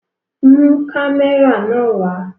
Mu kamẹra nàa wa!